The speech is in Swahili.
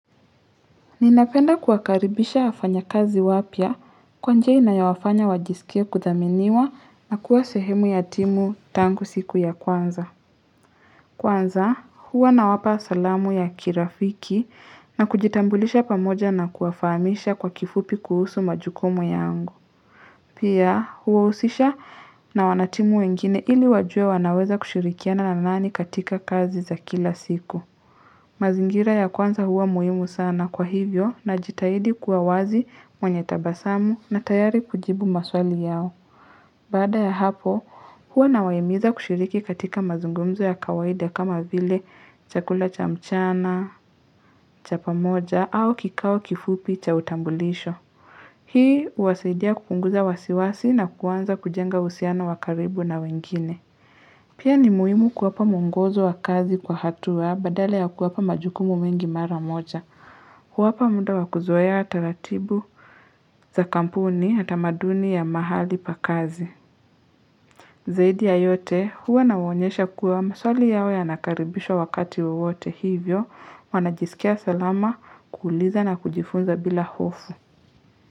Ninapenda kuwakaribisha wafanya kazi wapya kwa njia inayowafanya wajisikie kudhaminiwa na kuwa sehemu ya timu tangu siku ya kwanza. Kwanza, huwa nawapa salamu ya kirafiki na kujitambulisha pamoja na kuwafahamisha kwa kifupi kuhusu majukumu yangu. Pia, huwahusisha na wanatimu wengine ili wajue wanaweza kushirikiana na nani katika kazi za kila siku. Mazingira ya kwanza huwa muhimu sana kwa hivyo najitahidi kua wazi mwenye tabasamu na tayari kujibu maswali yao. Baada ya hapo, huwa nawahimiza kushiriki katika mazungumzo ya kawaida kama vile chakula cha mchana, cha pamoja au kikao kifupi cha utambulisho. Hii huwasaidia kupunguza wasiwasi na kuanza kujenga uhusiano wa karibu na wengine. Pia ni muhimu kuwapa mwongozo wa kazi kwa hatua badala ya kuwapa majukumu mingi mara moja. Huwapa muda wa kuzoea taratibu za kampuni na tamaduni ya mahali pa kazi. Zaidi ya yote huwa nawaonyesha kuwa maswali yao yanakaribishwa wakati wowote hivyo wanajisikia salama kuuliza na kujifunza bila hofu.